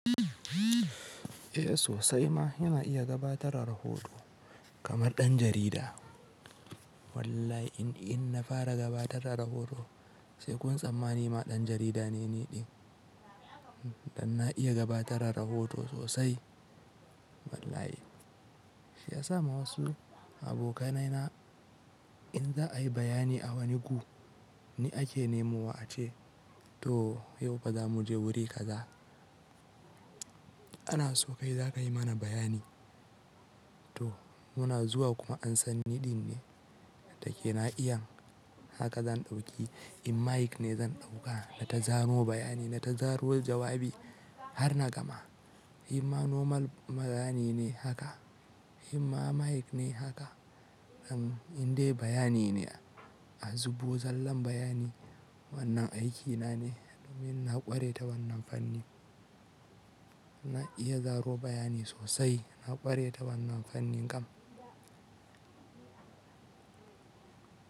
Eh sosai ma yana iya gabatarar rahoton kamar ɗan jarida. Wallahi in, in na fara gabatarar rahoton sai kun tsammani ma ɗan jarida ne niɗin. Dan na iya gabatarar rahoton sosai. Wallahi. Shi ya sa ma wasu abokanaina in za'a yi bayani a wani gu ni ake nemo wa ace to yau ba za mu je wuri kaza. Ana so kai za ka yi mana bayani. To muna zuwa kuma an san niɗin ne. Dakena iyan haka zan ɗauki in mic ne zan ɗauka na ta zano bayani na ta zaro jawabi har na gama. Himma normal ma da ni ne haka himma mic ne haka in in dai bayani ne a zubo zallan bayani wannan aikina ne domin na ƙware ta wannan fanni. Na iya zaro bayani sosai na ƙware ta wannan fannin kam.